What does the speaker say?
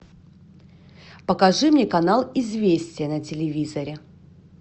покажи мне канал известия на телевизоре